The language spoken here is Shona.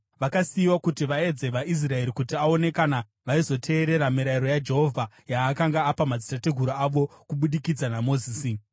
Vakasiyiwa kuti vaedze vaIsraeri kuti aone kana vaizoteerera mirayiro yaJehovha, yaakanga apa madzitateguru avo kubudikidza naMozisi.